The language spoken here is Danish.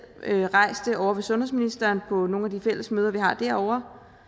rejst det ovre hos sundhedsministeren på nogle af de fælles møder vi har derovre